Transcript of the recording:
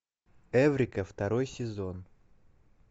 эврика второй сезон